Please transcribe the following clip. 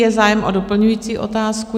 Je zájem o doplňující otázku?